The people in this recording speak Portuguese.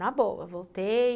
Na boa, voltei.